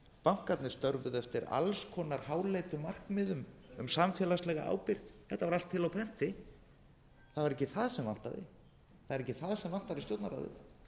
bankarnir störfuðu eftir alls konar háleitum markmiðum um samfélagslega ábyrgð þetta var allt til á prenti það var ekki það sem vantaði það er